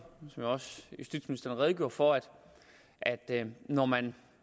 som også justitsministeren redegjorde for at man når man